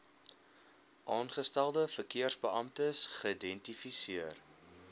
aangestelde verkeersbeamptes geïdentifiseer